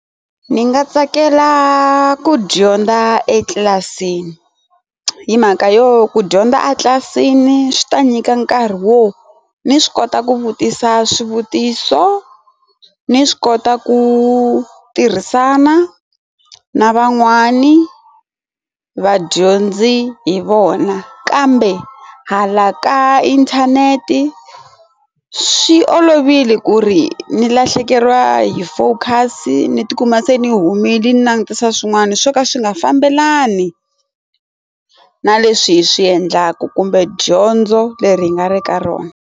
Ndzi nga tsakela ku dyondza etlilasini hi mhaka yo ku dyondza a tlilasini swi ta nyika nkarhi wo ni swi kota ku vutisa swivutiso ni swi kota ku tirhisana na van'wani vadyondzi hi vona kambe hala ka inthanete swi olovile ku ri ni lahlekeriwa hi focus ni ti kuma se ni humile ni langutisa swin'wana swo ka swi nga fambelani na leswi hi swi endlaku kumbe dyondzo leri hi nga ri ka rona.